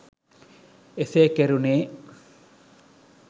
එසේ කෙරුනේ